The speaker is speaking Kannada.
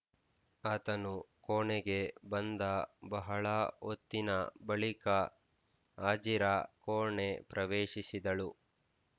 ಆತನು ಕೋಣೆಗೆ ಬಂದ ಬಹಳ ಹೊತ್ತಿನ ಬಳಿಕ ಹಾಜಿರಾ ಕೋಣೆ ಪ್ರವೇಶಿಸಿದಳು